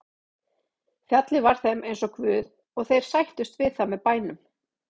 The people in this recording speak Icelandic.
Fjallið var þeim eins og guð og þeir sættust við það með bænum.